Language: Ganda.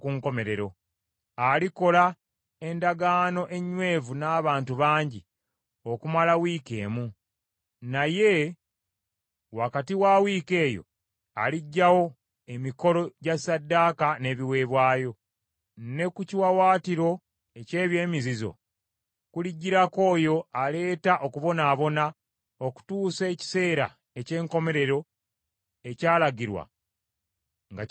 Alikola endagaano enywevu n’abantu bangi okumala wiiki emu, naye wakati wa wiiki eyo aliggyawo emikolo gya ssaddaaka n’ebiweebwayo. Ne ku kiwaawaatiro eky’ebyemizizo kulijjirako oyo aleeta okubonaabona, okutuusa ekiseera eky’enkomerero ekyalagirwa nga kituukiridde ku ye.”